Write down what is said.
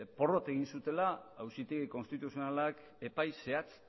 porrot egin zutela auzitegi konstituzionalak epai zehatz